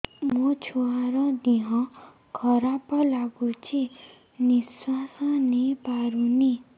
ମୋ ଛୁଆର ଦିହ ଖରାପ ଲାଗୁଚି ନିଃଶ୍ବାସ ନେଇ ପାରୁନି